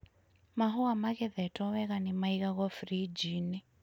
Mahũa magethetwo wega nĩ maigagwo friji-iniĩ.